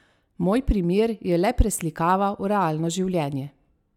Moj primer je le preslikava v realno življenje.